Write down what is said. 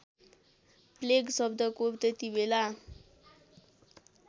plague शब्दको त्यतिबेला